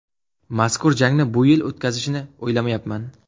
Mazkur jangni bu yil o‘tkazishni o‘ylamayapman.